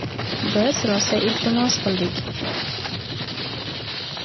Biz rosa iltimos qildik.